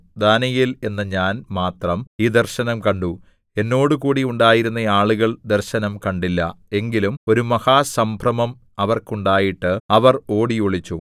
ദാനീയേൽ എന്ന ഞാൻ മാത്രം ഈ ദർശനം കണ്ടു എന്നോടുകൂടി ഉണ്ടായിരുന്ന ആളുകൾ ദർശനം കണ്ടില്ല എങ്കിലും ഒരു മഹാസംഭ്രമം അവർക്കുണ്ടായിട്ട് അവർ ഓടിയൊളിച്ചു